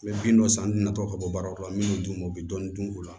N bɛ bin dɔ san an tina tɔ ka bɔ baaraw la min d'u ma u bɛ dɔɔnin dun u la